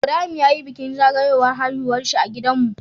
Ibrahim yayi bikin zagawowar haihuwarshi a gidan mu